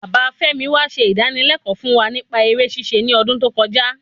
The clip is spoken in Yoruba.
Bàbá femi wa se idanilẹkọ fún wa nipa eré ṣíṣe ní odún tó kọjá